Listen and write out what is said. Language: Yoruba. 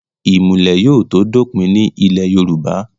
ìmùlẹ̀ yóò tó dópin ní ilẹ̀ yorùbá